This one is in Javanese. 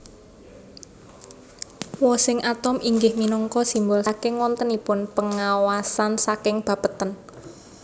Wosing atom inggih minangka simbol saking wontenipun pengawasn saking Bapeten